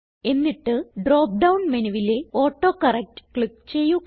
എന്നിട്ട് drop down മെനുവിലെ autocorrect click ചെയ്യുക